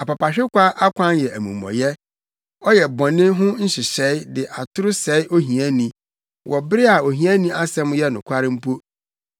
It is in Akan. Apapahwekwa akwan yɛ amumɔyɛ, ɔyɛ bɔne ho nhyehyɛe de atoro sɛe ohiani, wɔ bere a ohiani asɛm yɛ nokware mpo.